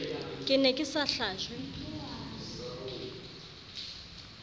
ke ne ke sa hlajwe